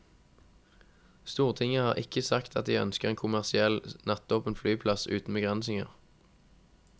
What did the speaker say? Stortinget har ikke sagt at de ønsker en kommersiell, nattåpen flyplass uten begrensninger.